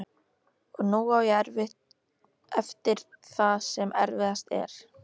Og nú á ég eftir það sem erfiðast er.